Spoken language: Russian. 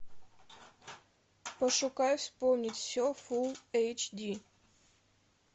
пошукай вспомнить все фулл эйч ди